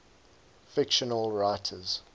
fictional writers